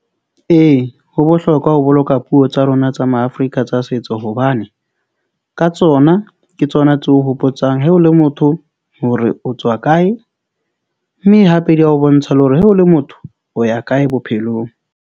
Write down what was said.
Ee, ho bohlokwa ho boloka puo tsa rona tsa Maafrika tsa setso hobane ka tsona ke tsona tseo hopotsang he o le motho hore o tswa kae mme hape di a o bontsha le hore he o le motho o ya kae bophelong.